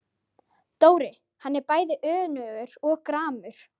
Dóri, hann er bæði önugur og gramur.